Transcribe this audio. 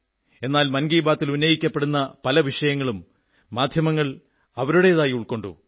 എന്നാൽ മൻ കീ ബാത്തിൽ ഉന്നയിക്കപ്പെടുന്ന പല വിഷയങ്ങളും മാധ്യമങ്ങൾ അവരുടേതായി ഉൾക്കൊണ്ടു